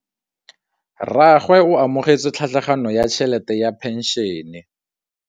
Rragwe o amogetse tlhatlhaganyô ya tšhelête ya phenšene.